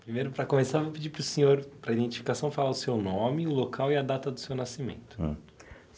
Primeiro, para começar, vou pedir para o senhor, para a identificação, falar o seu nome, o local e a data do seu nascimento. Hum.